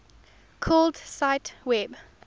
called cite web